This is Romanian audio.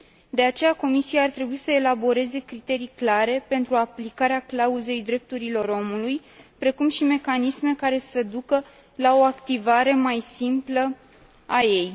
De aceea, Comisia ar trebui să elaboreze criterii clare pentru aplicarea clauzei drepturilor omului, precum și mecanisme care să ducă la o activare mai simplă a ei.